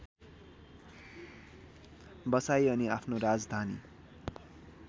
बसाई अनि आफ्नो राजधानी